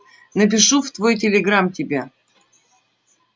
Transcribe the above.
напишу в твой телеграм тебе